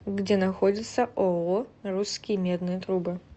где находится ооо русские медные трубы